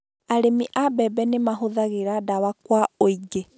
Arĩmi a mbebe nĩ mahũthagĩra dawa kwa ũingĩ